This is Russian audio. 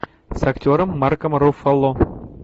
с актером марком руффало